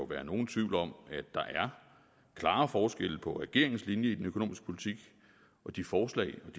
være nogen tvivl om at der er klare forskelle på regeringens linje i den økonomiske politik og de forslag og